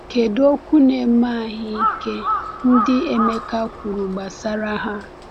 Kedu “okwu na-eme ahụ ike” ndị Emeka kwuru gbasara ha?